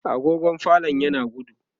agogon falon yana gudu